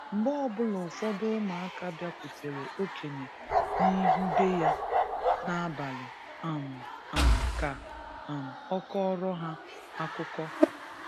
Mgbe ọbula ụfọdụ ụmụaka biakwutere okenye n’ihu be ya n'abali um um ka um ọ kọọrọ ha akụkọ